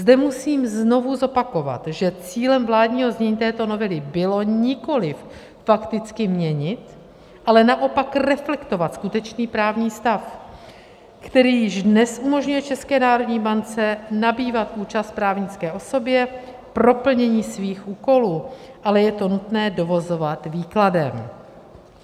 Zde musím znovu zopakovat, že cílem vládního znění této novely bylo nikoliv fakticky měnit, ale naopak reflektovat skutečný právní stav, který již dnes umožňuje České národní bance nabývat účast právnické osobě pro plnění svých úkolů, ale je to nutné dovozovat výkladem.